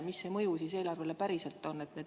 Mis see mõju eelarvele siis päriselt on?